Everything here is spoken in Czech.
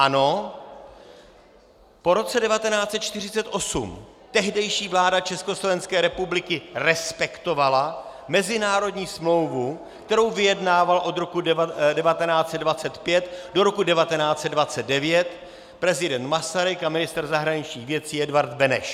Ano, po roce 1948 tehdejší vláda Československé republiky respektovala mezinárodní smlouvu, kterou vyjednával od roku 1925 do roku 1929 prezident Masaryk a ministr zahraničních věcí Edvard Beneš.